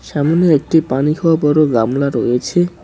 সামনে একটি পানি খাওয়া বড় গামলা রয়েছে।